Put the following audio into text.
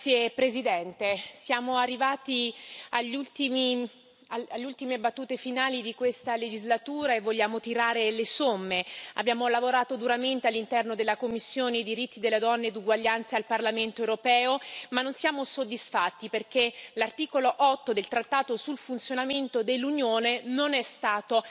Signor Presidente, onorevoli colleghi, siamo arrivati alle ultime battute finali di questa legislatura e vogliamo tirare le somme. Abbiamo lavorato duramente all'interno della commissione per i diritti della donna e l'uguaglianza di genere al Parlamento europeo, ma non siamo soddisfatti, perché l'articolo 8 del trattato sul funzionamento dell'Unione non è stato